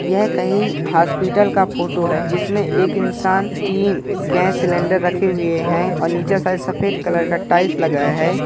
यह कहीं हॉस्पिटल का फोटो है जिसमें एक इंसान तीन गैस सिलेंडर रखे हुए हैं और नीचे साइड सफेद कलर का टाइल्स लगाया है।